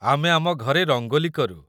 ଆମେ ଆମ ଘରେ ରଙ୍ଗୋଲି କରୁ ।